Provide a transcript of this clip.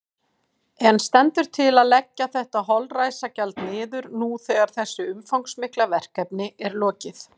En stendur til að leggja þetta holræsagjald niður nú þegar þessu umfangsmikla verkefni er lokið?